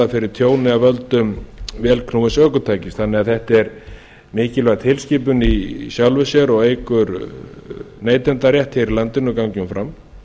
fyrir tjóni af völdum vélknúins ökutækis þannig að þetta er mikilvæg tilskipun í sjálfu sér og eykur neytendarétt hér í landinu gangi hún fram